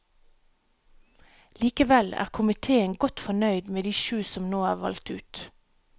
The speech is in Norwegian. Likevel er komiteen godt fornøyd med de sju som nå er valgt ut.